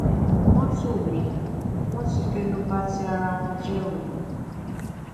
mọtò mi wọn ti fẹnu ba ti ara wọn jẹ o